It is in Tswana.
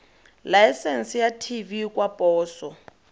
laesense ya tv kwa poso